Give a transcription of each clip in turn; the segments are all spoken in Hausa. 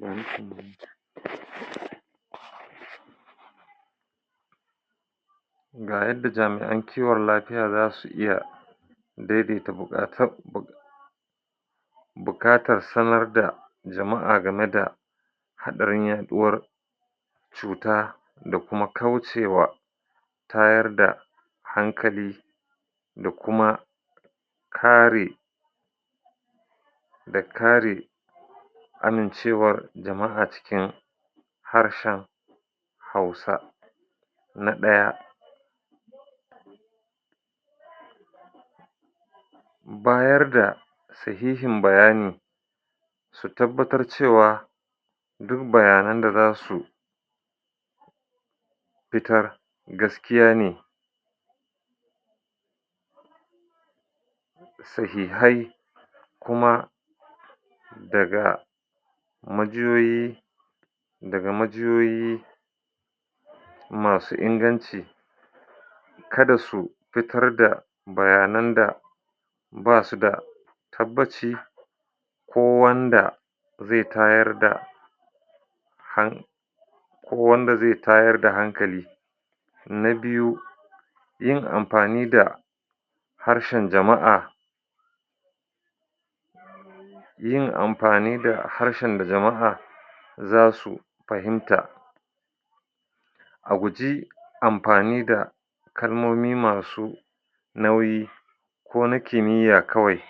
Ga yadda jami'an kiwon lafiya zasu iya daidaita buƙa bukatar sanar da jama'a game da haɗarin yaɗuwar cuta da kuma kaucewa tayar da hankali da kuma kare da kare amincewar jama'a cikin harshen hausa na ɗaya; bayar da sahihin bayani da tabbatar cewa du bayanan da zasu fitar gaskiya ne sahihai kuma daga majiyoyi daga majiyoyi masu inganci kada su fitar da bayanan da basu da tabbaci ko wanda zai tayar da han ko wanda zai tayar da hankali na biyu; yin amfani da harshen jama'a yin amfani da harshen da jama'a zasu fahimta a guje amfani da kalmomi masu nauyi ko na kimiyya kawai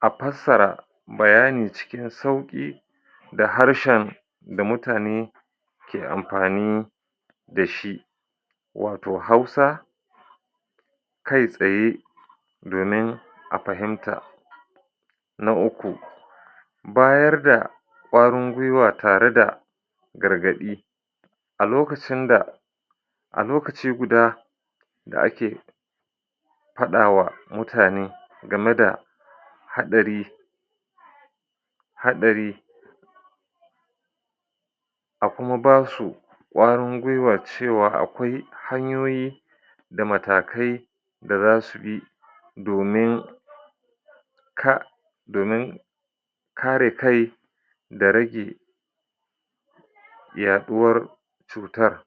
a fassara bayani cikin sauƙi da harshen da mutane ke amfani dashi wato hausa kai tsaye domin a fahimta na uku; bayar da ƙwarin gwiwa tare da gargaɗi a lokacin da a lokaci guda da ake faɗawa mutane game da haɗari haɗari a kuma basu ƙwarin gwiwa cewa akwai hanyoyi da matakai da zasu bi domin ka domin kare kai da rage yaɗuwar cutar. [paused]